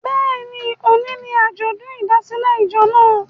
Bẹ́ẹ̀ni, òní ni àjọ̀dún ìdásílẹ̀ ìjọ naa